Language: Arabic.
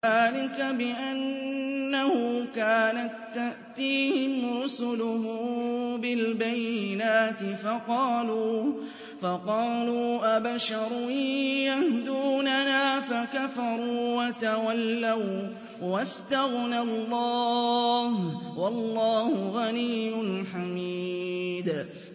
ذَٰلِكَ بِأَنَّهُ كَانَت تَّأْتِيهِمْ رُسُلُهُم بِالْبَيِّنَاتِ فَقَالُوا أَبَشَرٌ يَهْدُونَنَا فَكَفَرُوا وَتَوَلَّوا ۚ وَّاسْتَغْنَى اللَّهُ ۚ وَاللَّهُ غَنِيٌّ حَمِيدٌ